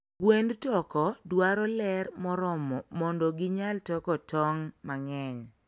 Gwend toko dwaro ler moromo mondo ginyal toko kong' mang'eny.